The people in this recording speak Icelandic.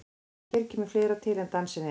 En hér kemur fleira til en dansinn einn.